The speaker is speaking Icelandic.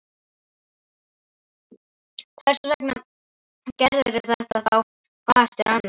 Hversvegna gerirðu þetta þá hvað eftir annað?